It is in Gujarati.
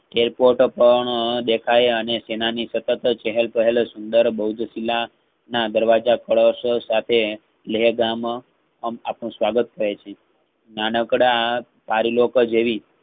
કહેતું ત્રણદેખાય અને સેનાની ની ખટક ચેહલપહલ સુંદર બહુજ ખીલા ના દરવાજા ખલશો સાથે લહદમ અને આપણું સ્વાગત કરે છે. નાનકડા આ તારી લોકો જેવી